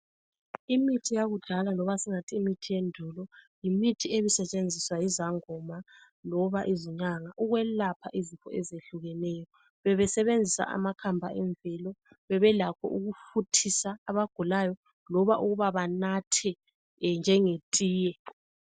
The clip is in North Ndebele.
Imithi yakudala loba singathi imithi yendulo yimithi ebisetshenziswa yizangoma loba izinyanga ukwelapha izifo ezehlukeneyo. Bebesebenzisa amakhamba emvelo. Bebelakho ukufuthisa abagulayo loba ukuba banathe njengetiye.